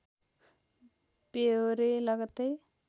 ब्यहोरे लगत्तै